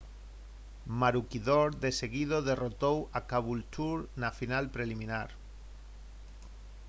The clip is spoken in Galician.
maroochydore de seguido derrotou a caboolture na final preliminar